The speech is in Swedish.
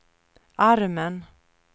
armen